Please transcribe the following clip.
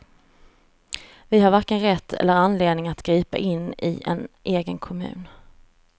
Vi har varken rätt eller anledning att gripa in i en egen kommun.